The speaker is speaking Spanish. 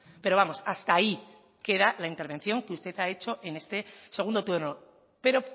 pero vamos hasta ahí que era la intervención que usted ha hecho en este segundo turno pero